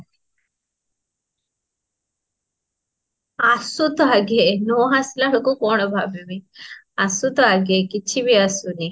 ଆସୁ ତ ଆଗେ ନଆସିଲା ବେଳକୁ କଣ ଭାବିବି ଆସୁ ତ ଆଗେ କିଛି ବି ଆସୁନି